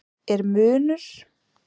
Er munur?